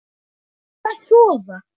Farðu að sofa.